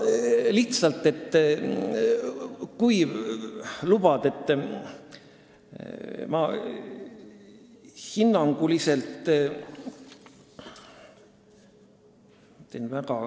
Lihtsalt, kui lubad, siis ma hinnanguliselt ütlen.